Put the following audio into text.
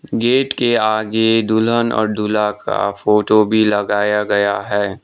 Gate के आगे दुल्हन और दूल्हा का फोटो भी लगाया गया है।